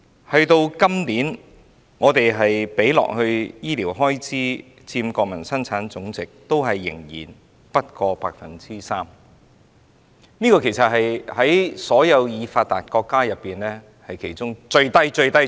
我們今年的醫療開支佔國民生產總值仍然不過 3%， 是在所有發達國家當中數字最低的。